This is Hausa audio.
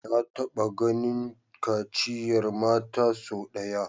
Na taba ganin kaciyar mata sau daya